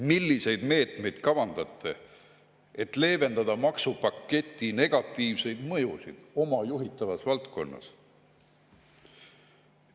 Milliseid meetmeid ta kavandab, et leevendada maksupaketi negatiivseid mõjusid oma juhitavas valdkonnas?